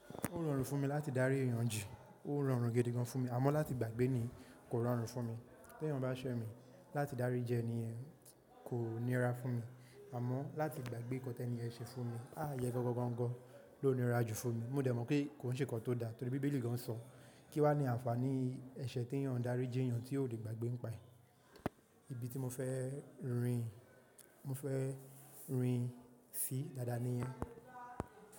Ó rọrùn fún mi láti dárí èèyàn ji, ó rọrùn gidi gan fún mi, àmọ́ láti gbàgbé ni kò rọrùn fún mi. Ti èèyàn bá ṣẹ́ mi láti dárí jẹ ẹni ẹ̀ kò níra fún mi, àmọ́ láti gbàgbé ǹkan tẹ́ẹ̀ ni ẹ ṣe fún mi há yẹ gangan ló nira jù fún mi. Mo dẹ̀ mọ̀ pé kò ń ṣe ǹkan tó da torí bíbélì gan sọ kí wà ní àǹfàní ẹ̀ṣẹ̀ tí èèyàn dárí ji èèyàn tí ò lè gbàgbé n pa ẹ. Ibi tí mo fẹ́ rin, mo fẹ́ rin sí dada ni yan.